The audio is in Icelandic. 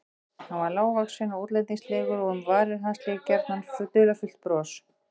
Hann var lágvaxinn og útlendingslegur og um varir hans lék gjarnan dularfullt bros.